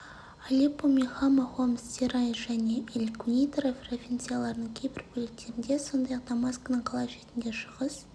алеппо мен хама хомс деръа және эль-кунейтра провинцияларының кейбір бөліктерінде сондай-ақ дамаскінің қала шетінде шығыс